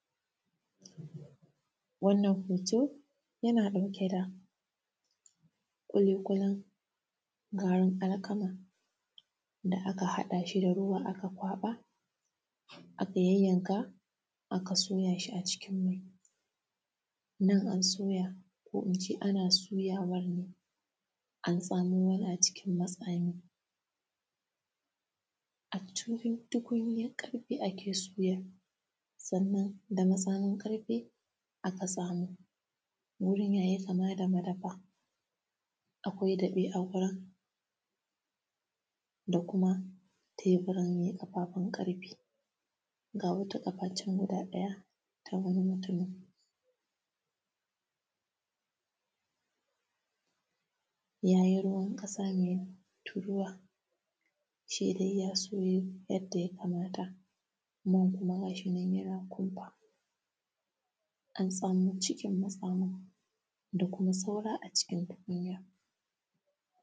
Wannan hooto yana ɗauke da ƙuliƙulin gaarin alkama da aka haɗa shi da ruwa aka kwaɓa aka yayyanka aka soyaa shi acikin mai. Nan an soya ko ince ana soyawar ne, an tsamo yana cikin matsami, acikin tukunyar ƙarfe ake suyan, sannan da matsamin ƙarfe aka tsamo. Wurin yayi kama da madafa akwai daɓe a wurin da kuma teburan mai ƙafaafun ƙarfe ga wata ƙafaa can guda ɗaya ta wai mutumi, ja ji ruwan ƙasa mai turuwa, shi dai ya soyu yadda ya kamata, man kuma ga shi nan yana kumfaa an tsamo cikin matsamin da kuma saura acikin tukunyar.